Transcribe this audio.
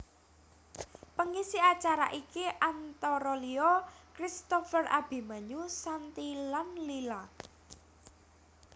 Pengisi acara iki antara liya Christopher Abimanyu Shanty lan Lyla